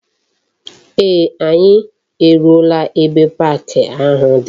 Ee, anyi eruola ebe park ahu di.